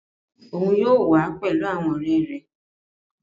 Bẹ́ẹ̀ni, oun yóò wa pẹlu awọn ọrẹ rẹ